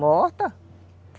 Morta?